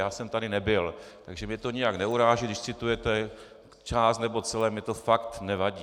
Já jsem tady nebyl, takže mě to nijak neuráží, když citujete část nebo celé, mě to fakt nevadí.